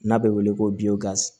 N'a bɛ wele ko